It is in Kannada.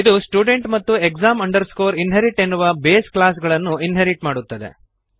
ಇದು ಸ್ಟುಡೆಂಟ್ ಮತ್ತು exam inherit ಎನ್ನುವ ಬೇಸ್ ಕ್ಲಾಸ್ ಗಳನ್ನು ಇನ್ಹೆರಿಟ್ ಮಾಡುತ್ತದೆ